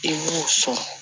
I b'o sɔn